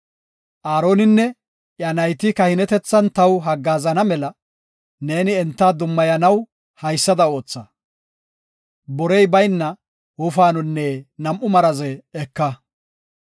“Aaroninne iya nayti kahinetethan taw haggaazana mela neeni enta dummayanaw haysada ootha; borey bayna wofaanonne nam7u maraze eka.